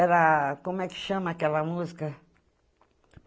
Era... Como é que chama aquela música?